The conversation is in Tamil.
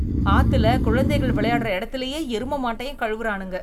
ஆத்துல குழந்தைகள் விளையாடுற எடத்திலேயே எரும மாட்டையும் கழுவுறானுங்க